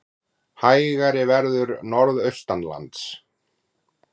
Hægari verður norðaustanlands